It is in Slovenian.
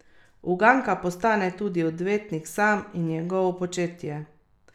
Uganka postane tudi odvetnik sam in njegovo početje.